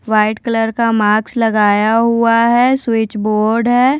White colour का marks लगाया हुआ है स्विचबोर्ड है।